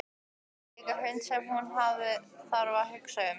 Þau eiga líka hund sem hún þarf að hugsa um.